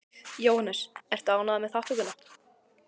Jóhannes: Ertu ánægður með þátttökuna?